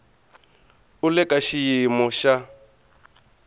u le ka xiyimo xa